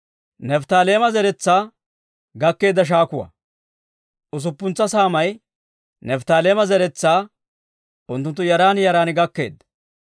Usuppuntsa saamay Nifttaaleema zeretsaa unttunttu yaran yaran gakkeedda.